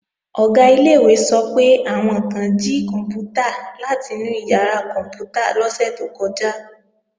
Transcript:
Ọ̀gá ilé-ìwé sọ pé, àwọn kan jí kòǹpútà láti inú ìyàrá kòǹpútà lọ́sẹ̀ tó kọjá